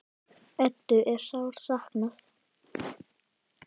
Eddu er sárt saknað.